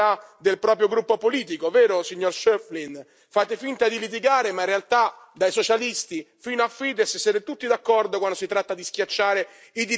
Fate finta di litigare, ma in realtà, dai Socialisti fino a Fidesz, siete tutti d'accordo quando si tratta di schiacciare i diritti dei gruppi che vi possono in qualche modo infastidire.